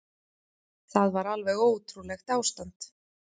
Það var alveg ótrúlegt ástand.